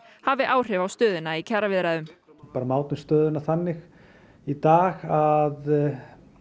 hafi áhrif á stöðuna í kjaraviðræðum við mátum stöðuna þannig í dag að